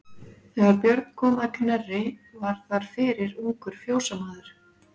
Þegar Björn kom að Knerri var þar fyrir ungur fjósamaður.